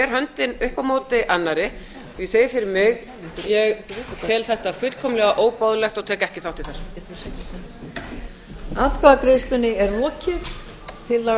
höndin upp á móti annarri og ég segi fyrir mig ég tel þetta fullkomlega óboðlegt og tek ekki þátt í þessu